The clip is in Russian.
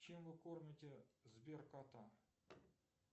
чем вы кормите сбер кота